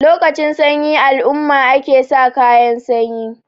lokacin sanyi alumma ake sa kayan sanyi